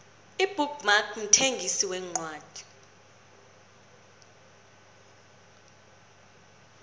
ibook mark mthengisi wencwadi